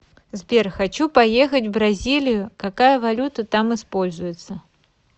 сбер хочу поехать в бразилию какая валюта там используется